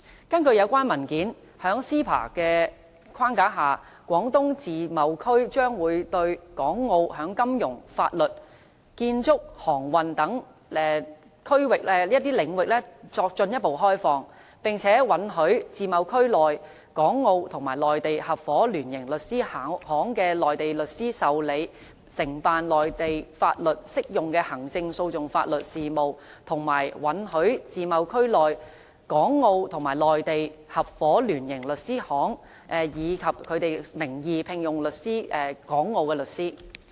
根據有關文件，在 CEPA 的框架下，廣東自貿區將會向港澳進一步開放金融、法律、建築、航運等領域，並且允許自貿區內港澳與內地合夥聯營律師事務所的內地律師受理、承辦內地法律適用的行政訴訟法律事務，以及允許自貿區內港澳與內地合夥聯營律師事務所，以其事務所名義聘用港澳律師。